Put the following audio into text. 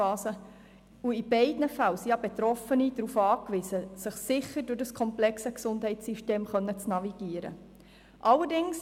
In beiden Fällen sind die Betroffenen darauf angewiesen, dass sie sich sicher durch das komplexe Gesundheitssystem navigieren können.